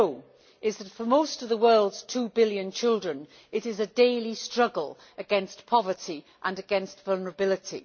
we know is that, for most of the world's two billion children, it is a daily struggle against poverty and vulnerability.